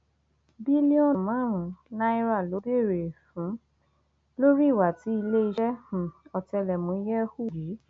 bílíọnù márùnún náírà ló béèrè um fún lórí ìwà tí iléeṣẹ um ọtẹlẹmúyẹ hù yìí